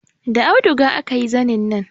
Da auduga aka yi zanin nan